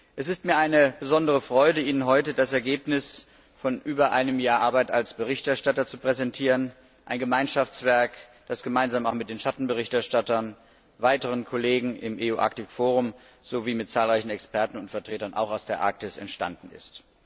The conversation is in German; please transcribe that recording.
Es ist mir eine besondere Freude, Ihnen heute das Ergebnis von über einem Jahr als Berichterstatter zu präsentieren, ein Gemeinschaftswerk, das gemeinsam mit den Schattenberichterstattern, weiteren Kollegen im sowie mit zahlreichen Experten und Vertretern, auch aus der Arktis, entstanden ist.